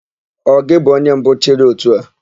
Ọ gị bụ onye mbụ chịrị ótù a?